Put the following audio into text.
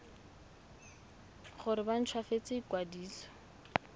gore ba nt hwafatse ikwadiso